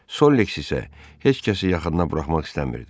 Solliks isə heç kəsi yaxına buraxmaq istəmirdi.